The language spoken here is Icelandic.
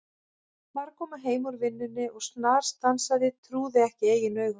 Var að koma heim úr vinnunni og snarstansaði, trúði ekki eigin augum.